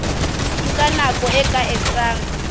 nka nako e ka etsang